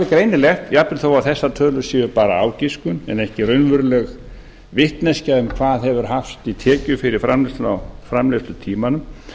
greinilegt jafnvel þó að þessar tölur séu bara ágiskun en ekki raunveruleg vitneskja um hvað hefur hafst í tekjur fyrir framleiðsluna á framleiðslutímanum